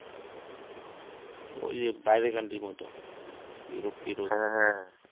অই যে বাইরের country এর মতো ইউরোপ টিউরোপ